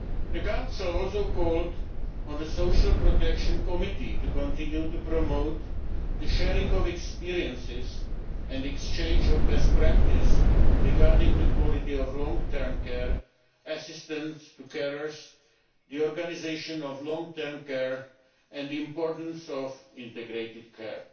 The Council also called on the Social Protection Committee to continue to promote the sharing of experiences and exchange of best practice regarding the quality of long term care, assistance to carers, the organisation of long term care and the importance of integrated care.